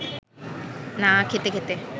না খেতে খেতে